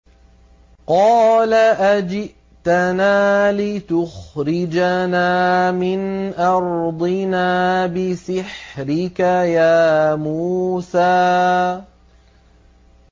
قَالَ أَجِئْتَنَا لِتُخْرِجَنَا مِنْ أَرْضِنَا بِسِحْرِكَ يَا مُوسَىٰ